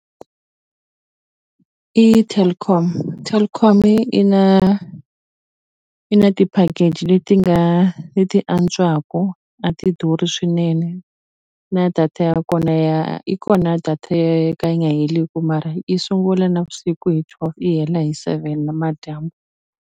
I Telkom Telkom-i i na i na ti-package leti nga leti antswaku a ti durhi swinene na data ya kona ya yi kona data yo ka yi nga heleku mara i sungula navusiku hi twelve yi hela hi seven namadyambu.